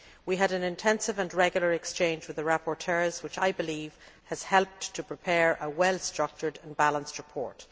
We had an intensive and regular exchange with the rapporteurs, which, I believe, has helped in preparing a well structured and balanced report.